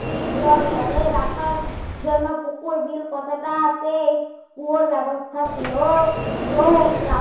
নদীর জল ধরে রাখার জন্যে পুকুর বীল কতটা আছে কুয়োর ব্যবস্থা ছিল চোখ রা